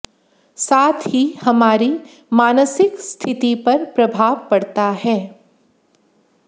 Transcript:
साथ ही हमारी मानसिक स्थिति पर प्रभाव पड़ता है